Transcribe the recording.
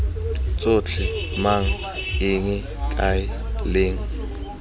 tsotlhe mang eng kae leng